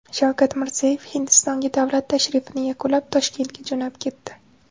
Shavkat Mirziyoyev Hindistonga davlat tashrifini yakunlab, Toshkentga jo‘nab ketdi.